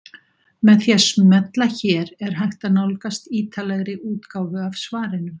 Með því að smella hér er hægt að nálgast ítarlegri útgáfu af svarinu.